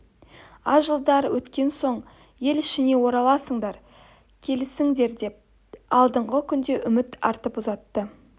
аз жылдар өткен соң ел ішіне ораласыңдар келесіңдер деп алдағы күнге үміт артып ұзатты